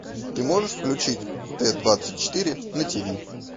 ты можешь включить т двадцать четыре на тв